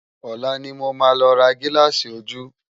Òlá ni mó má lò rá gilási ójú